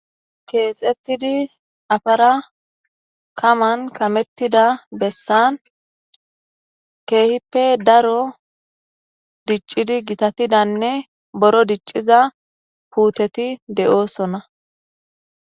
Keexettidi afara kaman kamettida bessan keehippe daro diccidi gitatidanne boro dicciza puuteti de'oosona.